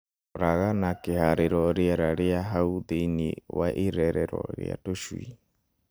Roraga na kĩharĩro rĩera rĩa hau thĩinĩ wa irerero rĩa tũcui.